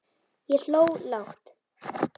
Ég hló lágt.